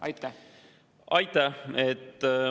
Aitäh!